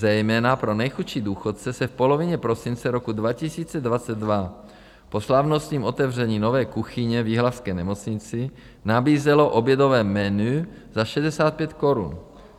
Zejména pro nejchudší důchodce se v polovině prosince roku 2022 po slavnostním otevření nové kuchyně v jihlavské nemocnici nabízelo obědové menu za 65 korun.